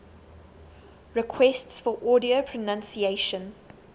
requests for audio pronunciation